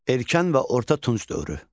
Erkən və orta Tunc dövrü.